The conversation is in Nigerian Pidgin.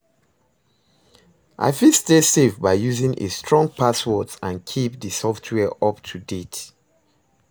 I fit stay safe by using a strong passwords and keep di software up to date.